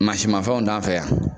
Mansin mafɛnw t'an fɛ yan.